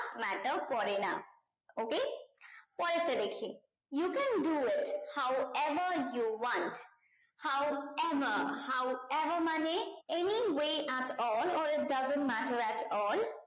matter করে না okay পরেরটা দেখি you can do it how ever you one how ever how ever মানে any way at all it doesn't matter at all